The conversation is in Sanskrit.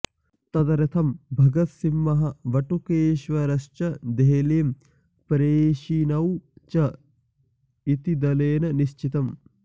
तदर्थं भगतसिंहः बटुकेश्वरश्च देहलीं प्रेषणीयौ इति च दलेन निश्चितम्